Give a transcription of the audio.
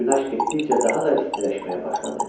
Günəş getdikcə daha da istiləşməyə başladı.